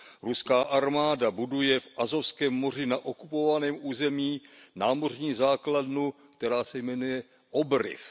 Ruská armáda buduje v Azovském moři na okupovaném území námořní základnu, která se jmenuje Obryv.